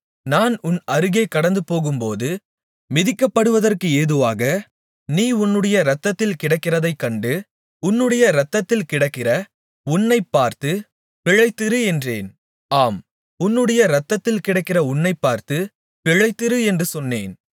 நான் உன் அருகே கடந்துபோகும்போது மிதிக்கப்படுவதற்கு ஏதுவாக நீ உன்னுடைய இரத்தத்தில் கிடக்கிறதைக் கண்டு உன்னுடைய இரத்தத்தில் கிடக்கிற உன்னைப் பார்த்து பிழைத்திரு என்றேன் ஆம் உன்னுடைய இரத்தத்தில் கிடக்கிற உன்னைப் பார்த்து பிழைத்திரு என்று சொன்னேன்